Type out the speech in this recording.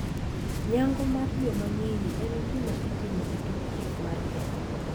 Nyango mar joma nyiri en gima itimo e tok chik mar Kenya.